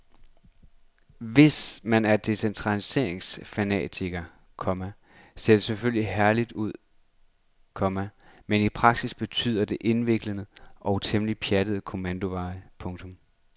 Hvis man er decentraliseringsfanatiker, komma ser det selvfølgelig herligt ud, komma men i praksis betyder det indviklede og temmelig pjattede kommandoveje. punktum